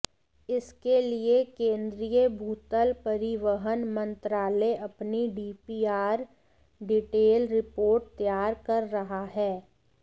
इसके लिये केन्द्रीय भूतल परिवहन मंत्रालय अपनी डीपीआर डीटेल रिर्पोट तैयार कर रहा है